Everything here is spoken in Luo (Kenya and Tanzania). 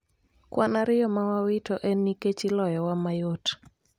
Kwan ariyo mawawito en nikech iloyo wa mayot